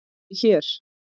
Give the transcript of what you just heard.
ÉG ER HÉR!